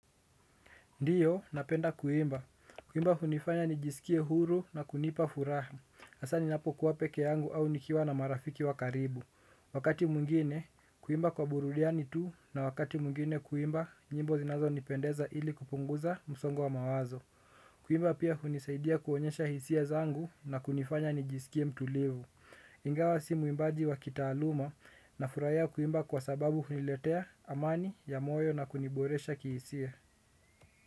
Ndiyo, napenda kuimba. Kuimba hunifanya nijisikie huru na kunipa furaha. Hasaa ninapokuwa peke yangu au nikiwa na marafiki wa karibu. Wakati mwingine, kuimba kwa burudani tu na wakati mwingine kuimba nyimbo zinazonipendeza ili kupunguza msongo wa mawazo. Kuimba pia hunisaidia kuonyesha hisia zangu na kunifanya nijisikie mtulivu. Ingawa si muimbaji wa kitaaluma, nafurahia kuimba kwa sababu huniletea amani ya moyo na kuniboresha kihisia.